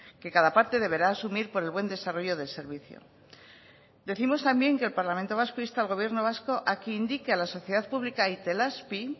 que cada parte deberá asumir por el buen desarrollo del servicio decimos también que el parlamento vasco insta al gobierno vasco a que indique a la sociedad pública itelazpi